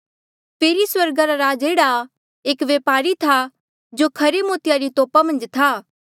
फेरी स्वर्गा रा राज एह्ड़ा आ एक वपारी था जो खरे मोतिया री तोपा मन्झ था